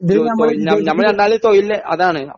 ഇതില് നമ്മള് വിചാരിക്കുന്നത്